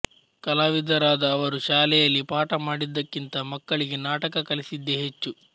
ಕಲಾವಿದರಾದ ಅವರು ಶಾಲೆಯಲ್ಲಿ ಪಾಠ ಮಾಡಿದ್ದಕ್ಕಿಂತ ಮಕ್ಕಳಿಗೆ ನಾಟಕ ಕಲಿಸಿದ್ದೆ ಹೆಚ್ಚು